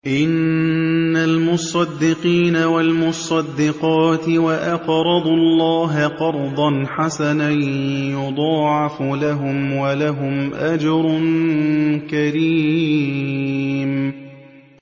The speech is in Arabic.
إِنَّ الْمُصَّدِّقِينَ وَالْمُصَّدِّقَاتِ وَأَقْرَضُوا اللَّهَ قَرْضًا حَسَنًا يُضَاعَفُ لَهُمْ وَلَهُمْ أَجْرٌ كَرِيمٌ